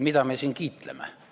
Mida me siin kiitleme?